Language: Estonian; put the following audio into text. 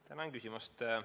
Tänan küsimast!